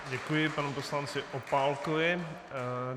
Děkuji panu poslanci Opálkovi.